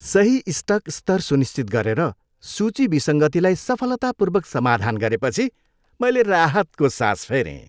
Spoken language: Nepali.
सही स्टक स्तर सुनिश्चित गरेर, सूची विसङ्गतिलाई सफलतापूर्वक समाधान गरेपछि मैले राहतको सास फेरेँ।